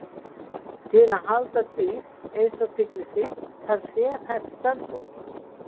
Til að halda dýr eins og tígrisdýr þarf sérhæft starfsfólk.